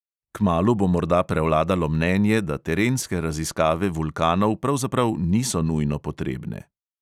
Kmalu bo morda prevladalo mnenje, da terenske raziskave vulkanov pravzaprav niso nujno potrebne ...